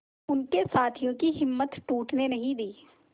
उनके साथियों की हिम्मत टूटने नहीं दी